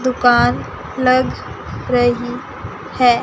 दुकान लग रही है।